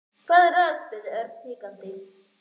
Hvað er að? spurði Örn hikandi.